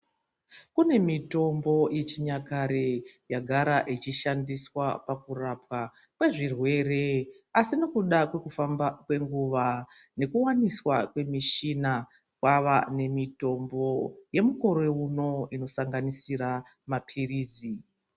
Kune mitombo yechinyakare yagara ichishandiswa pakurapwa kwezvirwere asi nekuda kwekufamba kwenguva nekuwaniswa kwemishina kwava nemitombo yemukore uno inosanganisira maphirizi.